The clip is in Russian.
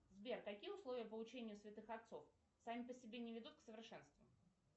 сбер какие условия получения святых отцов сами по себе не ведут к совершенству